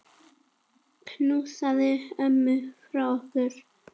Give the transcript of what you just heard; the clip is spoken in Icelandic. Knúsaðu ömmu frá okkur.